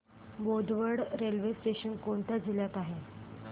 Bodwad railway station कोणत्या जिल्ह्यात आहे